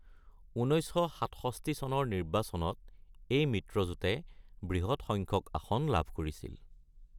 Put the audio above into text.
১৯৬৭ চনৰ নিৰ্বাচনত এই মিত্ৰজোঁটে বৃহৎ সংখ্যক আসন লাভ কৰিছিল।